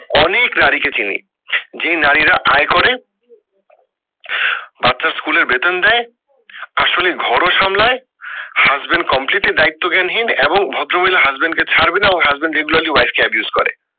অনেক নারী কে চিনি, যেই নারী রা আয় করে বাচ্চার স্কুলের বেতন দেয় তার সঙ্গে ঘর ও সামলায় husband completely দায়িত্বজ্ঞান হীন এবং ভদ্র মহিলা husband কে ছাড়বে না ও husband regularly wife কে abuse করে